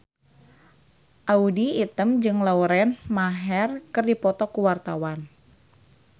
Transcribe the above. Audy Item jeung Lauren Maher keur dipoto ku wartawan